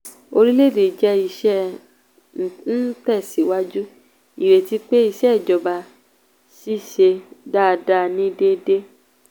orílẹ̀ èdè jẹ́ iṣẹ́ ń tẹ̀síwájú ìrètí pé ìsèjọba ṣiṣẹ́ dáadáa ní déédéé.